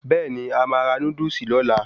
Bẹ́ẹ̀ni,A máa ra Núdúsì lóla